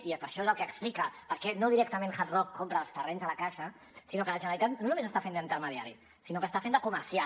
i això és el que explica per què no directament hard rock compra els terrenys de la caixa que la generalitat no només està fent d’intermediari sinó que està fent de comercial